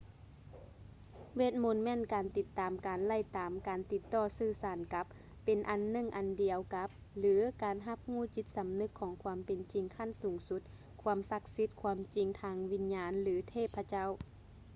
ເວດມົນ ແມ່ນການຕິດຕາມການໄລ່ຕາມ ການຕິດຕໍ່ສື່ສານກັບ ເປັນອັນໜຶ່ງອັນດຽວກັບ ຫຼື ການຮັບຮູ້ຈິດສຳນຶກຂອງຄວາມເປັນຈິງຂັ້ນສູງສຸດ ຄວາມສັກສິດ ຄວາມຈິງທາງວິນຍານ ຫຼື ເທບພະເຈົ້າ